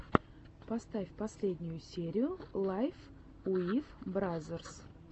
поставь последнюю серию лайф уив бразерс